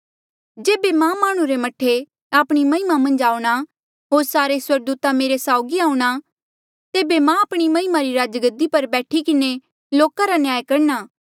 जेबे मां माह्णुं रे मह्ठे आपणी महिमा मन्झ आऊंणा होर सारे स्वर्गदूता मेरे साऊगी आऊंणा तेबे मां आपणी महिमा री राजगद्दी पर बैठ किन्हें लोका रा न्याय करणा